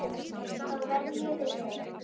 Þá verð ég við þeim.